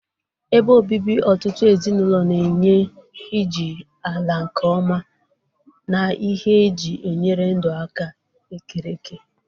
Ebe obibi ọtụtụ ezinụlọ na-enye iji ala nke ọma na ihe eji enyere ndụ aka ekereke.